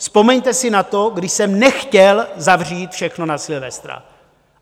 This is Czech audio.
Vzpomeňte si na to, kdy jsem nechtěl zavřít všechno na Silvestra.